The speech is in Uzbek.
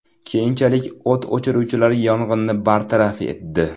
Keyinchalik o‘t o‘chiruvchilar yong‘inni bartaraf etdi.